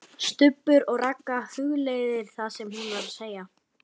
STUBBUR OG RAGGA, hugleiðir það sem hún var að segja.